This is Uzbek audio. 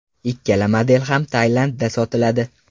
Ikkala model ham Tailandda sotiladi.